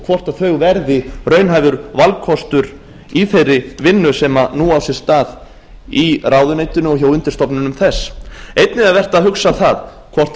hvort þau verði raunhæfur valkostur í þeirri vinnu sem nú á sér stað í ráðuneytinu og hjá undirstofnunum þess einnig er vert að hugsa það hvort